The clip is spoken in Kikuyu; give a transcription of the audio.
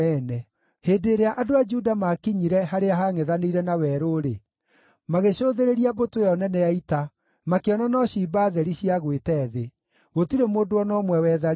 Hĩndĩ ĩrĩa andũ a Juda maakinyire harĩa hangʼethanĩire na werũ-rĩ, magĩcũthĩrĩria mbũtũ ĩyo nene ya ita, makĩona no ciimba theri ciagwĩte thĩ; gũtirĩ mũndũ o na ũmwe wetharĩte.